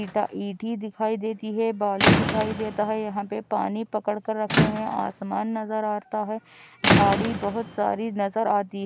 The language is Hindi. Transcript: इता ईठी दिखाई देती है बालू दिखाई देता है यहाँ पे पानी पकड़ के रखे है आसमान नजर आता है झाड़ी बहुत सारी नजर आती है।